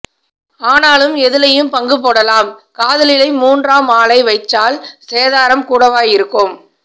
ஆனாலும் எதிலையும் பங்குபோடலாம் காதலிலை மூன்றாம் ஆளை வைச்சால் சேதாரம் கூடவாய் இருக்கும்